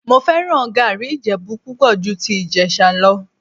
Mo fẹ́ràn gàárì Ìjẹ̀bú púpọ̀ ju ti Ìjẹ̀sà lọ